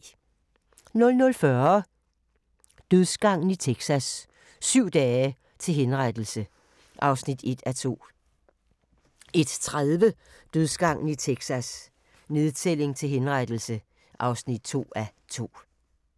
00:40: Dødsgangen i Texas: Syv dage til henrettelse (1:2) 01:30: Dødsgangen i Texas: Nedtælling til henrettelse (2:2)